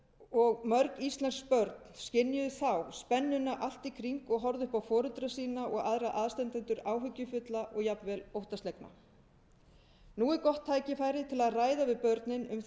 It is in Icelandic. og mörg íslensk börn skynjuðu þá spennuna allt í kring og horfðu upp á foreldra sína og aðra aðstandendur áhyggjufulla og jafnvel óttaslegna nú er gott tækifæri til að ræða við börnin um þessa neyslu